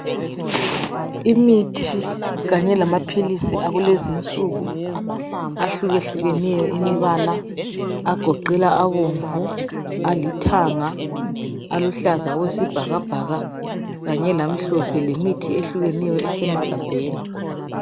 Imithi kanye lamaphilisi akulezinsuku ahlukehlukeneyo imbala agoqela abomvu, alithanga, aluhlaza okwesibhakabhaka kanye lamhlophe lemithi ehlukeneyo esemagabheni.